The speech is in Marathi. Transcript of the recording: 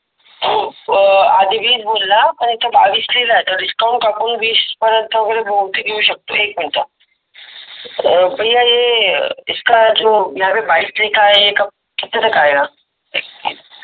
अं आधी वीस बोलला आणि इथं बावीस लिहिला आहे तर डिस्काउंट कापून वीस पर्यंत वगेरे बहुतेक येऊ शकतो. एक मिनिट. भैय्या ये इसका जो यहा पे बाइस रहता हे कब ये किते तक आया.